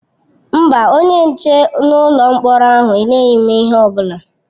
Mba, onye nche n'ụlọ mkpọrọ ahụ enyeghị m ihe ọ bụla.